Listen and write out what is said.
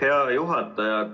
Aitäh, hea juhataja!